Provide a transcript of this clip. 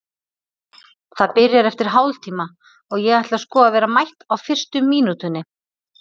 Það byrjar eftir hálftíma og ég ætla sko að vera mætt á fyrstu mínútunni.